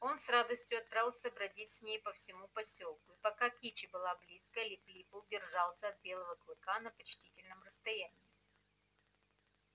он с радостью отправился бродить с ней по всему посёлку и пока кичи была близко лип лип держался от белело клыка на почтительном расстоянии